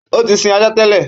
Ó tí sin ajá tẹ́lẹ̀.